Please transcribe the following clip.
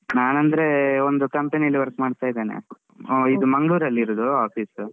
ನಾನ್ ಅಂದ್ರೇ ಒಂದು company ಅಲ್ಲಿ work ಮಾಡ್ತಾ ಇದ್ದೇನೆ ಇದು ಮಂಗ್ಳೂರಲ್ಲಿರುದು office .